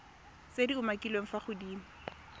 tse di umakiliweng fa godimo